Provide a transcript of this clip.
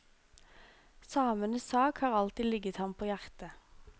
Samenes sak har alltid ligget ham på hjertet.